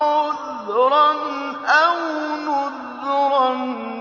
عُذْرًا أَوْ نُذْرًا